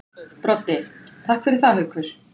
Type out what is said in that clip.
Broddi: Takk fyrir það Haukur.